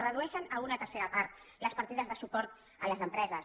redueixen a una tercera part les partides de suport a les empreses